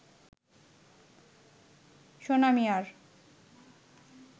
সোনা মিয়ার